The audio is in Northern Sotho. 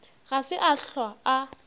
ga se a hlwa a